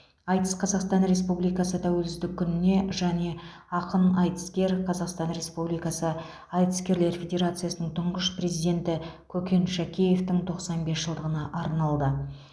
айтыс қазақстан республикасы тәуелсіздік күніне және ақын айтыскер қазақстан республикасы айтыскерлер федерациясының тұңғыш президенті көкен шәкеевтің тоқсан бес жылдығына арналды